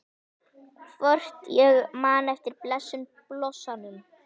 Hvort ég man eftir blessuðum blossanum?